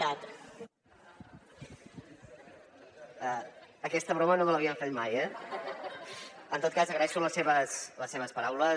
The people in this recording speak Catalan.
aquesta broma no me l’havien fet mai eh en tot cas agraeixo les seves paraules